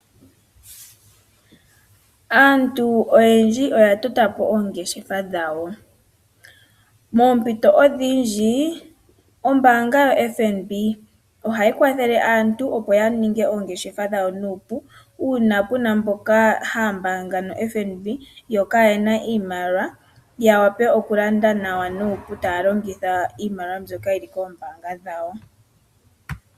Aantu oyendji oya totapo oongeshefa dhawo. Moompito odhindji, ombaanga yotango yopashigwana ohayi kwathele aantu opo yaninge oongeshefa dhawo nuupu uuna mboka haya mbaanga no FNB, yo kayena iimaliwa, yawape okulanda nawa nuupu taya longitha iimaliwa mbyoka yili komayalulilo gawo gombaanga.